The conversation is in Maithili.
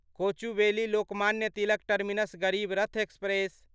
Kochuveli Lokmanya Tilak terminus Garib Rath express